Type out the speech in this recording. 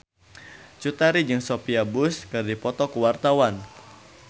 Cut Tari jeung Sophia Bush keur dipoto ku wartawan